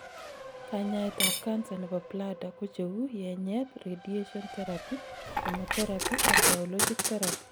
kanyaet ab cancer nebo bladder kocheu yenyet, radiation therapy, chemotherapy ak biologic therapy